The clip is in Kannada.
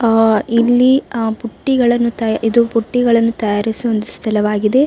ಆಹ್ಹ್ ಇಲ್ಲಿ ಆಹ್ಹ್ ಬುಟ್ಟಿಗಳನ್ನು ಇದು ಬುಟ್ಟಿಗಳನ್ನು ತಯಾರಿಸುವ ಒಂದು ಸ್ಥಳವಾಗಿದೆ .